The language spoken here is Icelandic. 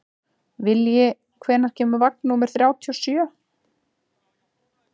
Vilji, hvenær kemur vagn númer þrjátíu og sjö?